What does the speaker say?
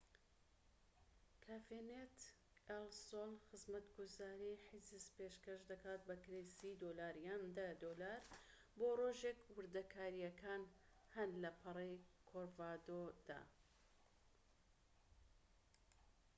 کافێ نێت ئێل سۆل خزمەتگوزاری حیجز پێشکەش دەکات بە کرێی ٣٠ دۆلار یان ١٠ دۆلار بۆ ڕۆژێك، وردەکاریەکان هەن لە پەڕەی کۆرکۆڤادۆدا